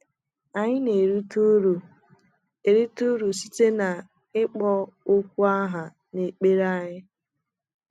Anyị ga - erite ụrụ - erite ụrụ site n’ịkpọ okwu aha n’ekpere anyị.